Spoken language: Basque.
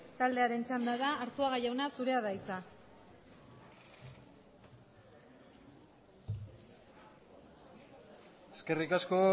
taldearen txanda da arzuaga jauna zurea da hitza eskerrik asko